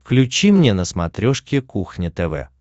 включи мне на смотрешке кухня тв